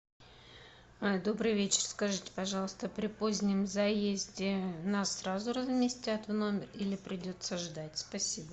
добрый вечер скажите пожалуйста при позднем заезде нас сразу разместят в номер или придется ждать спасибо